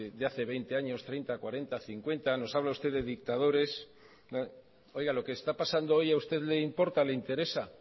de hace veinte años treinta cuarenta cincuenta nos habla usted de dictadores oiga lo que está pasando hoy a usted le importa le interesa